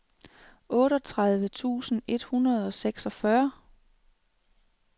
otteogtredive tusind et hundrede og seksogfyrre